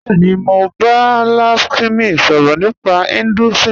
Bẹẹ̀ni, mọ̀ n bá Lakshmi sọrọ̀ nípa Hinduism